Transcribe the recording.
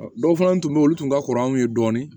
Dɔw fana tun bɛ yen olu tun ka kɔrɔ an ye dɔɔnin